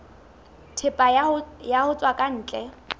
thepa ho tswa ka ntle